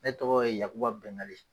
Ne tɔgɔ ye yakuba Bɛngali